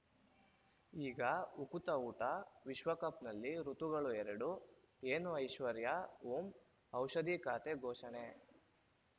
ಈಗ ಉಕುತ ಊಟ ವಿಶ್ವಕಪ್‌ನಲ್ಲಿ ಋತುಗಳು ಎರಡು ಏನು ಐಶ್ವರ್ಯಾ ಓಂ ಔಷಧಿ ಖಾತೆ ಘೋಷಣೆ